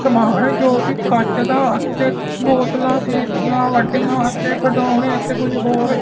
ਸਮਾਣ ਜੋ ਕਿ ਕੱਚ ਦਾ ਅਤੇ ਬੋਤਲਾਂ ਸੀ ਵੱਡੀਆਂ ਅਤੇ ਖਡਾਉਣੇ ਤੇ ਕੁਝ ਹੋਰ--